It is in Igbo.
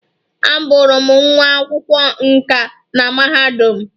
Abụrụ m nwa akwụkwọ nkà na mahadum.